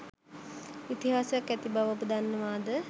ඉතිහාසයක් ඇති බව ඔබ දන්නවාද?